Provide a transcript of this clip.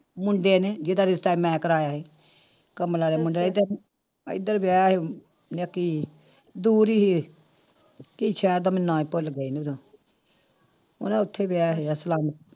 ਮੁੰਡੇ ਨੇ ਜਿਹਦਾ ਰਿਸ਼ਤਾ ਮੈਂ ਕਰਵਾਇਆ ਸੀ ਕਮਲਾ ਦਾ ਮੁੰਡਾ ਇੱਧਰ ਇੱਧਰ ਵਿਆਹਿਆ ਸੀ ਆਹ ਕੀ ਦੂਰ ਹੀ ਸੀ ਕੀ ਸ਼ਹਿਰ ਦਾ ਮੈਨੂੰ ਨਾਂ ਹੀ ਭੁੱਲ ਗਿਆ ਮੇਰਾ ਹਨਾ ਉੱਥੇ ਵਿਆਹਿਆ ਸੀਗਾ ਸਲਾਮ